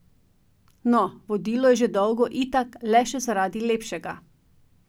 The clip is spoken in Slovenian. No, vodilo je že dolgo itak le še zaradi lepšega.